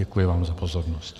Děkuji vám za pozornost.